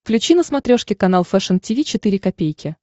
включи на смотрешке канал фэшн ти ви четыре ка